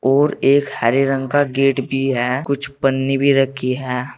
और एक हरे रंग का गेट भी है कुछ पन्नी भी रखी है।